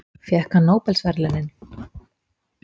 Fékk hann nóbelsverðlaunin?